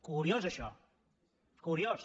curiós això curiós